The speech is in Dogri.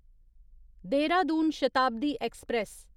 देहरादून शताब्दी ऐक्सप्रैस